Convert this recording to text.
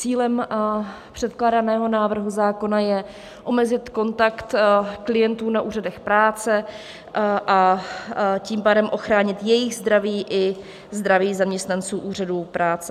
Cílem předkládaného návrhu zákona je omezit kontakt klientů na úřadech práce, a tím pádem ochránit jejich zdraví i zdraví zaměstnanců úřadů práce.